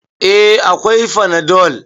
Eh, akwai fanadol